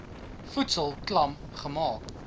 voedsel klam gemaak